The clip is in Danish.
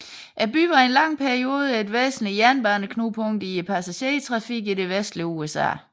Byen var i en lang periode et væsentligt jernbaneknudepunkt i passagertrafikken i det vestlige USA